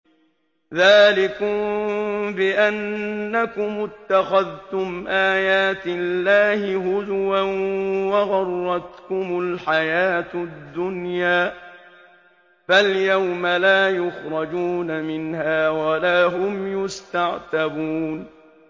ذَٰلِكُم بِأَنَّكُمُ اتَّخَذْتُمْ آيَاتِ اللَّهِ هُزُوًا وَغَرَّتْكُمُ الْحَيَاةُ الدُّنْيَا ۚ فَالْيَوْمَ لَا يُخْرَجُونَ مِنْهَا وَلَا هُمْ يُسْتَعْتَبُونَ